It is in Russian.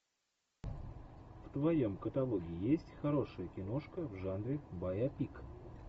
в твоем каталоге есть хорошая киношка в жанре байопик